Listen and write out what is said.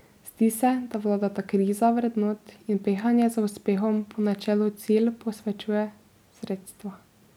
Zdi se, da vladata kriza vrednot in pehanje za uspehom po načelu cilj posvečuje sredstva.